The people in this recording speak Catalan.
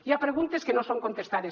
hi ha preguntes que no són contestades